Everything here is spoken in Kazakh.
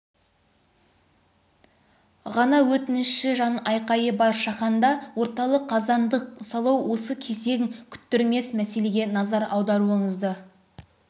ғана өтініші жан айқайы бар шаханда орталық қазандық салу осы кезек күттірмес мәселеге назар аударуыңызды